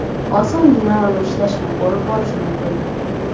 osongina uni ishlashini ko‘rib borish mumkin.